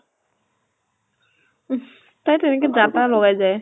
তাই টো এনেকে যা তা লগাই যায়।